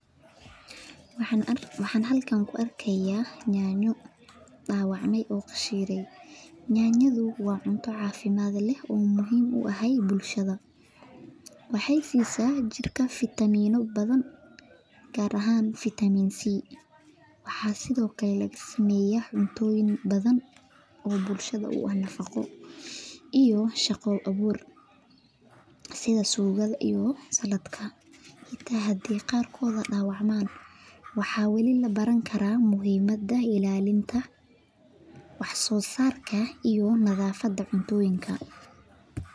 Yanyada wa cunto cafimad leh oo muhim u ah bulshada wexey siisa jirka gar ahan vitaminc waxa sithokale lagasameya oo bulshada u ah nafaqo iyo shaqa abur sida sugada iyo saladka hata hadey qarkood dawacmaan waxa weeli labaran kara muhimada ilalinta wax sosarka iyo nadafada cuntoyinka.